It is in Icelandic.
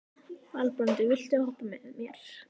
Valbrandur, viltu hoppa með mér?